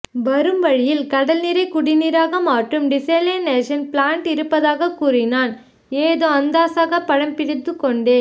வரும்வழியில் கடல் நீரை குடி நீராக மாற்றும் டிசேலியனேஷன் ப்லாண்ட் இருப்பதாகக் கூறினான் ஏதோ அந்தாசாக படம் பிடித்துக் கொண்டேன்